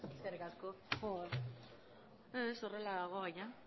eskerrik asko ez horrela dago baina